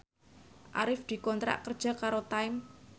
Arif dikontrak kerja karo Time